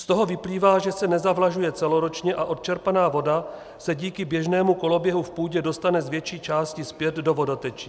Z toho vyplývá, že se nezavlažuje celoročně a odčerpaná voda se díky běžnému koloběhu v půdě dostane z větší části zpět do vodotečí.